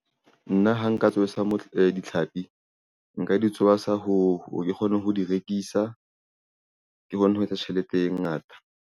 Nna ha nka tsoasa ditlhapi nka di tsoasa ho re ke kgone ho di rekisa ke hone ho etsa tjhelete e ngata.